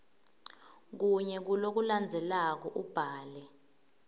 kunye kulokulandzelako ubhale